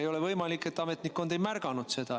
Ei ole võimalik, et ametnikud midagi ei märganud.